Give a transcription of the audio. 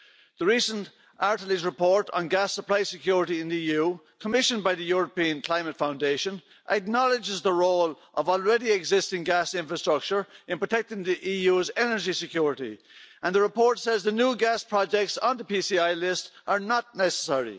The recent Artelys report on gas supply security in the EU, commissioned by the European Climate Foundation, acknowledges the role of existing gas infrastructure in protecting the EU's energy security, and the report says the new gas projects on the PCI list are not necessary.